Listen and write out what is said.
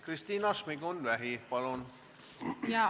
Kristina Šmigun-Vähi, palun!